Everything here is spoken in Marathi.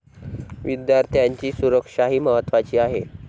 विद्यार्थ्यांची सुरक्षाही महत्त्वाची आहे.